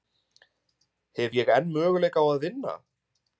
Hef ég enn möguleika á að vinna?